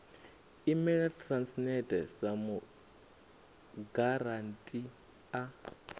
imela transnet sa mugarantii a